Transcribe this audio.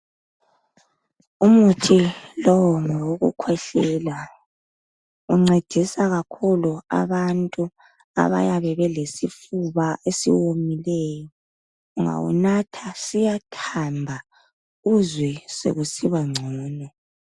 Umuthi lowu ngowokukhwehlela . Uncedisa kakhulu abantu abayabe belesifuba esiwomileyo .ungawunatha siyathamba uzwe sekusiba ngcono